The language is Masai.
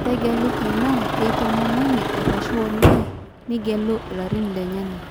Tegelu tenaa kentomononi arashu olee ,nigelu ilarrin lenye